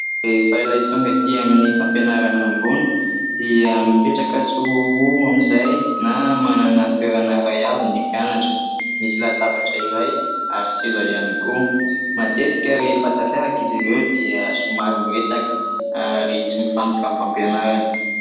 Rehefa ilay tonga ety amin'ny fampianarana ambony dia mipetraka tsiroaroa amin'izay na manana toerana iray avy ny mpianatra. Misy latabatra iray ary seza ihany koa. Matetika rehefa tafiaraka izy ireo dia somary miresaka ary tsy mifantoka amin'ny fampianarana.